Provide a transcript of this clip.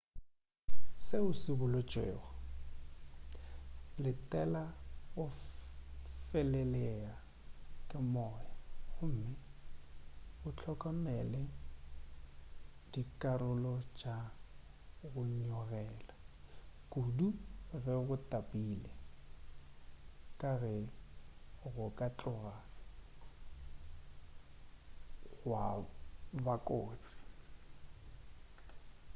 seo seboletšwego letela go felelea ke moya gomme o hlokomele dikarolong tša go nyogela kudu ge go tapile ka ge go ka tloga gwa bakotsi